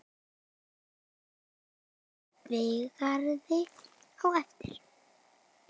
Kaffi í Végarði á eftir.